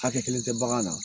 Hakɛ kelen tɛ bagan na